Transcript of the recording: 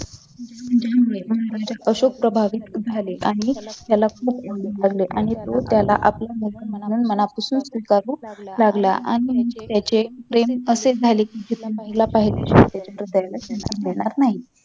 त्यामुळे महाराजा अशोक प्रभावित झाले आणि त्याला खूप ओरडू लागले आणि तो त्याला आपल्या मनापासून स्वीकारु लागला आणि त्याचे प्रेम असे झाले कि जिथे सैन्य न्यायला पाहिजे तिथे सैन्य नेणार नाही